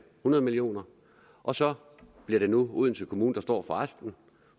hundrede million kr og så bliver det nu odense kommune der står for resten